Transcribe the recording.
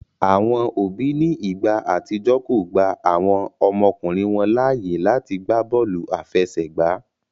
Àwọn òbí ní igbà àtijọ́ kọ gbà àwọn ọmọkùnrin wọn láàyè láàti gbàbóòlù afẹsẹgba